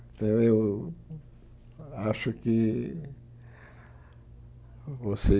Então, eu acho que vocês...